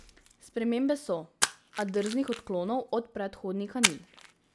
Spremembe so, a drznih odklonov od predhodnika ni.